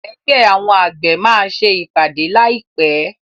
Ẹgbẹ́ àwọn àgbẹ̀ máa ṣe ìpàdé láì pé.